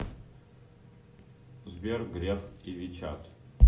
сбер греф и вичат